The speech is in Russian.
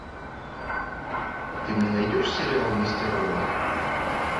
ты мне найдешь сериал мистер робот